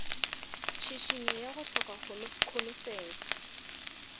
tšhišinyo ya go hloka kholofelo